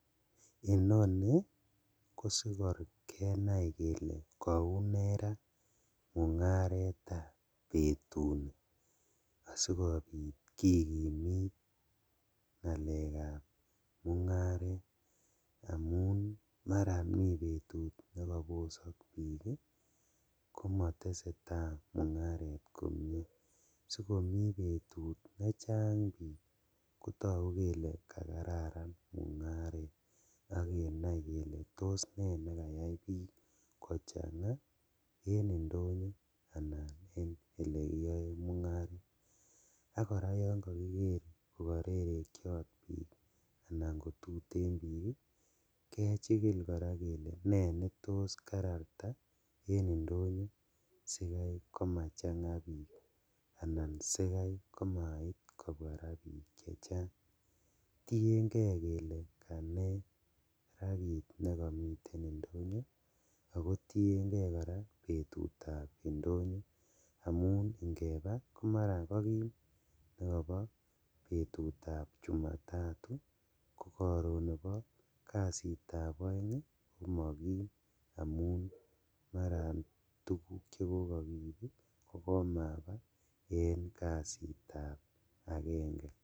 Inoni kosikobit kenai kele koune raa mungaretab betuni asikobit kikimit ngalekab mungaret, amun maran mi betut nekobosok bik ii komotesetaa mungaret komie, sikomi betut nechang bik kotoku kele kararan mungaret ak kenai kele tos nekayai bik kochangaa en indonyo anan ko en olekiyoen mungaret, ak koraa yon kokiker kokorerekiot bik anan kotuten bik ii kechikil kele anane netos kararta en indonyo sikai komachangaa bik anan sikai komait kobwaa raa bik chechang tiengee kele kanee raa kit nekomiten indonyo ako tiengee koraa betutab indonyo amun ingebaa komaran kokim nekobo betutab chumatatu kokoron nebo kasitab oeng komokim amun maran tuguk chekokokiib kokomabaa en kasitab agenge.